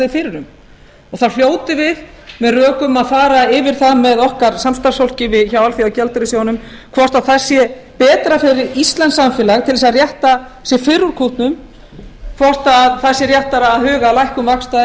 fyrir um og þá hljótum við með rökum að fara yfir það með okkar samstarfsfólki hjá alþjóðagjaldeyrissjóðnum hvort það sé betra fyrir íslenskt samfélag til að rétta fyrr úr kútnum hvort það sé réttara að huga að lækkun vaxta